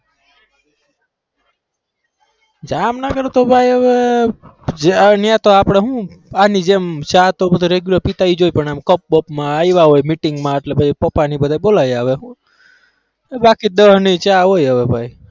જામનગર તો ભાઈ હવે અહીંયા તો આપણે શું આની જેમ ચા તો બધી regular પીતા ઈજ હોય પણ એમ cup બપમાં આયવા હોય meeting માં એટલે પછી પાપાને એ બધા બોલાઈ આવે બાકી દસની ચા હોય ભાઈ.